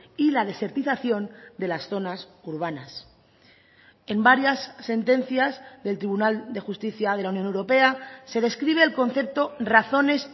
y la desertización de las zonas urbanas en varias sentencias del tribunal de justicia de la unión europea se describe el concepto razones